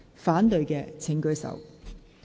反對的請舉手。